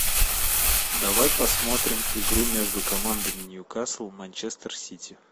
давай посмотрим игру между командами ньюкасл манчестер сити